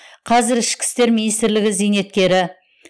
қазір ішкі істер министрлігі зейнеткері